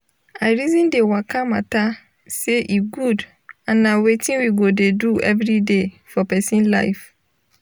i reason de waka matta say e good and nah wetin we go dey do everyday for pesin life.